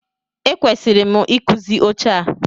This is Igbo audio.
E kwesịrị m ị kụzi oche a.